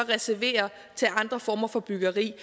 reservere til andre former for byggeri